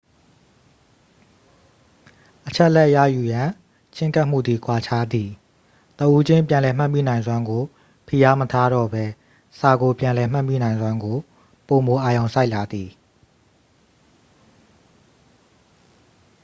အချက်အလက်ရယူရန် ချဉ်းကပ်မှုသည် ကွာခြားသည် တဦးချင်းပြန်လည်မှတ်မိနိုင်စွမ်းကို ဖိအားမထားတော့ပဲ စာကို ပြန်လည်မှတ်မိနိုင်စွမ်းကို ပိုမိုအာရုံစိုက်လာသည်